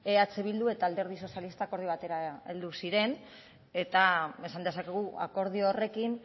eh bildu eta alderdi sozialista akordio batera heldu ziren eta esan dezakegu akordio horrekin